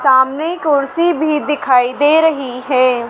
सामने कुर्सी भी दिखाई दे रही है।